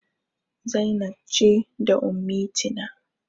Zainab ce da Ummitina.